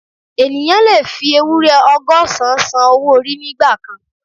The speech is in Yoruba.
Ènìyàn lè fi ewúrẹ́ ọgọ́sán san owó orí nígbà kan